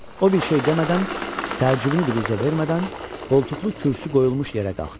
O bir şey demədən, təəccübünü biruzə vermədən qoltuqlu kürsü qoyulmuş yerə qalxdı.